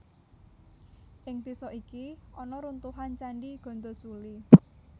Ing désa iki ana runtuhan Candhi Gandasuli